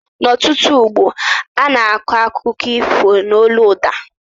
N' ọtụtụ ógbó ana akọ akụkọ ifo n' ólú ụda